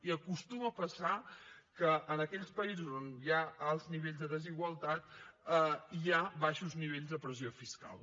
i acostuma a passar que en aquells països on hi ha alts nivells de desigualtat hi ha baixos nivells de pressió fiscal